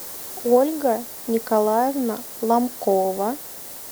ольга николаевна ломкова